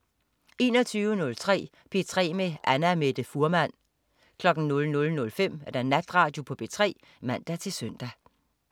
21.03 P3 med Annamette Fuhrmann 00.05 Natradio på P3 (man-søn)